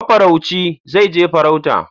Mafarauci zai je farauta